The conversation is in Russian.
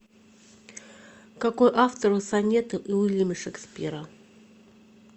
какой автор у сонеты уильяма шекспира